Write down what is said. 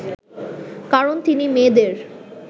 কারণ তিনি মেয়েদের